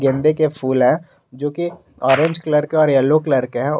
गेंदे के फूल है जो कि ऑरेंज कलर के और येलो कलर के हैं।